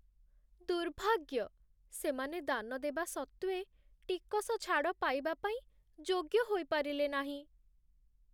ଦୁର୍ଭାଗ୍ୟ! ସେମାନେ ଦାନ ଦେବା ସତ୍ତ୍ୱେ, ଟିକସ ଛାଡ଼ ପାଇବା ପାଇଁ ଯୋଗ୍ୟ ହୋଇପାରିଲେ ନାହିଁ।